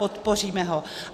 Podpoříme ho.